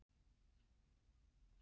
Hvíldu í friði, elsku bróðir.